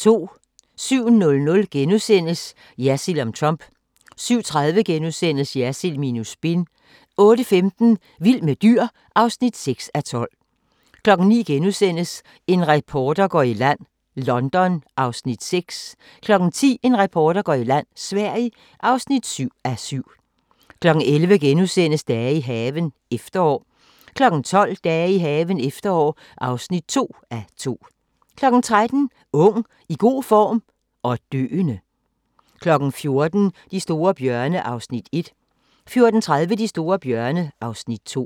07:00: Jersild om Trump * 07:30: Jersild minus spin * 08:15: Vild med dyr (6:12) 09:00: En reporter går i land: London (6:7)* 10:00: En reporter går i land: Sverige (7:7) 11:00: Dage i haven – efterår (1:2)* 12:00: Dage i haven – efterår (2:2) 13:00: Ung, i god form – og døende! 14:00: De store bjørne (Afs. 1) 14:30: De store bjørne (Afs. 2)